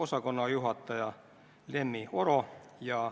Te kas helistasite mõlemale liikmele või te ei helistanud.